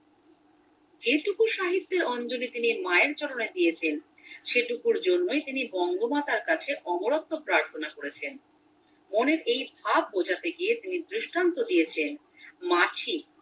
যেইটুকু সাহিত্যে অঞ্জলি তিনি মায়ের চরণে দিয়েছেন সেটুকুর জন্যে তিনি বঙ্গমাতার কাছে অমরত্ব প্রার্থনা করেছেন মনের এই ভাব বোঝাতে গিয়ে তিনি দৃষ্টান্ত দিয়েছেন মাছি